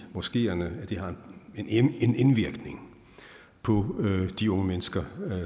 moskeerne har en indvirkning på de unge mennesker